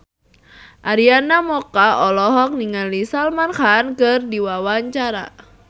Arina Mocca olohok ningali Salman Khan keur diwawancara